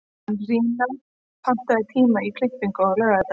Arína, pantaðu tíma í klippingu á laugardaginn.